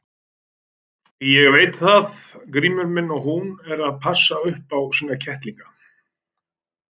Ég veit það Grímur minn að hún er að passa upp á sína kettlinga.